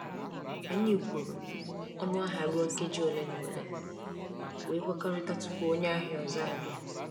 Anyị kwụrụ ọnụ ahịa ruo nkeji ole na ole, wee kwekọrịta tupu onye ahịa ọzọ abịa.